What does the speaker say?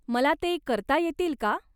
मला ते करता येतील का?